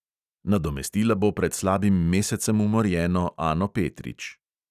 Nadomestila bo pred slabim mesecem umorjeno ano petrič.